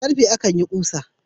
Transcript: Da ƙarfe akan yin ƙusa